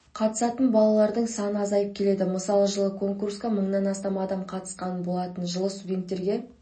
қатысатын балалардың саны азайып келеді мысалы жылы конкурсқа мыңнан астам адам қатысқан болатын жылы студенттерге